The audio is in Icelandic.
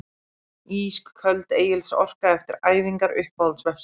Ísköld Egils Orka eftir æfingar Uppáhalds vefsíða?